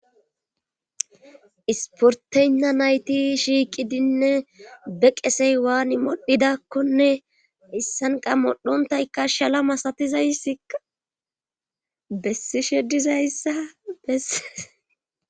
Isporteynna nayti shiiqidinne be qesey waan modhidakkone issanqa modhontaykka shala masatizaysia bessi shedizayssa bessees